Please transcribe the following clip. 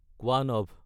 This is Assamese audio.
কোৱানাভ